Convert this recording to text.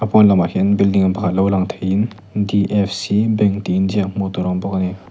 pawn lamah hian building pakhat lo lang thei in d f c bank tih inziak hmuh tur a awm bawk ani.